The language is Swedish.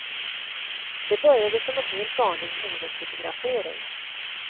Det började som en helt vanlig modefotografering.